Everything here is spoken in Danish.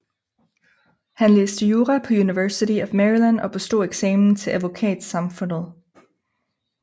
Han læste jura på University of Maryland og bestod eksamen til advokatsamfundet